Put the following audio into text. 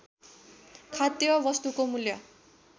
खाद्य वस्तुको मूल्य